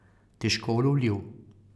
Težko ulovljiv.